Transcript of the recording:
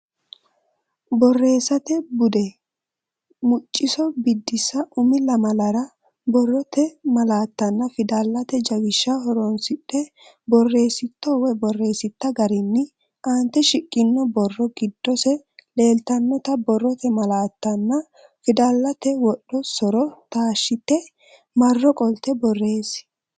Borreessate Bude: Mucciso Biddissa Umi lamalara borrote malaattanna fidalete jawishsha horonsidhe borreessitto(a) garinni aante shiqqino borro giddose leeltannota borrote malaattanna fidalsate wodho so’ro taashshite marro qolte borreessi.